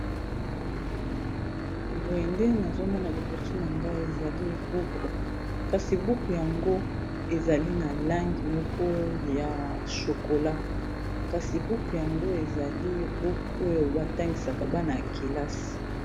Boyende nazomona liboso na ngai ezali buku, kasi buku yango ezali na langi moko ya shokola kasi buku yango ezali buku oyo batangisaka bana ya kelasi.